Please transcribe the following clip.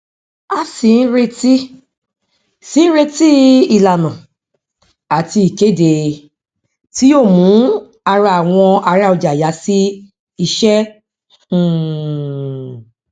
a sì ń retí sì ń retí ìlànà àti ìkéde tí yóò mú ará àwọn ará ọjà yà sí ìṣe um